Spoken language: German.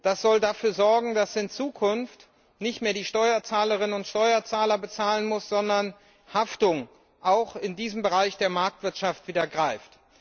Das soll dafür sorgen, dass in Zukunft nicht mehr die Steuerzahlerinnen und Steuerzahler bezahlen müssen, sondern Haftung auch in diesem Bereich der Marktwirtschaft wieder greift.